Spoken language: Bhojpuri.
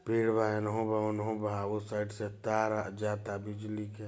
पेड़ बा इन्हू बा उनहु बा उस साइड से तार जाता बिजली के--